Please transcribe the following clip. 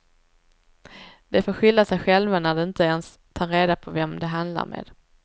De får skylla sig själva när de inte ens tar reda på vem de handlar med.